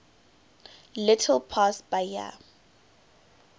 little past bahia